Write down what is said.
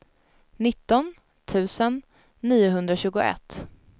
nitton tusen niohundratjugoett